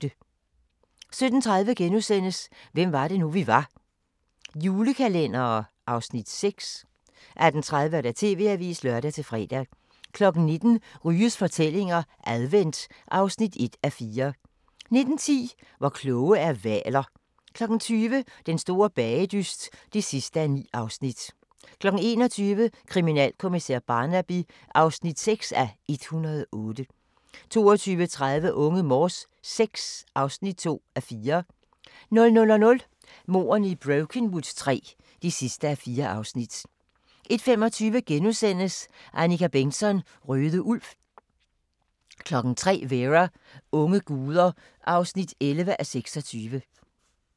17:30: Hvem var det nu, vi var: Julekalendere (Afs. 6)* 18:30: TV-avisen (lør-fre) 19:00: Ryges julefortællinger – Advent (1:4) 19:10: Hvor kloge er hvaler? 20:00: Den store bagedyst (9:9) 21:00: Kriminalkommissær Barnaby (6:108) 22:30: Unge Morse VI (2:4) 00:00: Mordene i Brokenwood III (4:4) 01:25: Annika Bengtzon: Røde Ulv * 03:00: Vera: Unge guder (11:26)